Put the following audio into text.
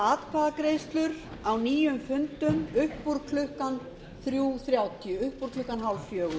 atkvæðagreiðslur á nýjum fundum upp úr klukkan þrjú þrjátíu upp úr klukkan hálffjögur